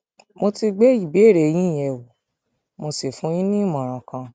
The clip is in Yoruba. mo ti gbé ìbéèrè yín yẹ wò mo sì fún yín ní ìmọràn kan